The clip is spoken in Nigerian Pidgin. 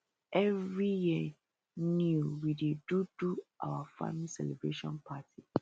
every year new we dey do do our farming celebration party